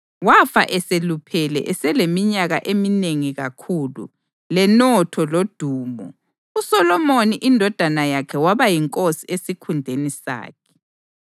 Wafa eseluphele eseleminyaka eminengi kakhulu lenotho lodumo; uSolomoni indodana yakhe waba yinkosi esikhundleni sakhe.